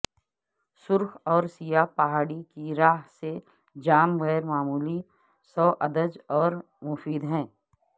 سرخ اور سیاہ پہاڑی کی راھ سے جام غیر معمولی سوادج اور مفید ہے